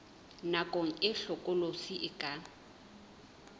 nako e hlokolosi e ka